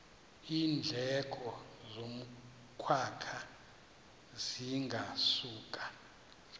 iindleko zokwakha zingasuka